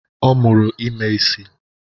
Ọ mụrụ ime isị